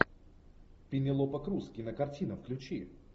пенелопа крус кинокартина включи